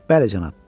Bəli, cənab.